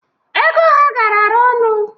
Ego ha garara ọnụ,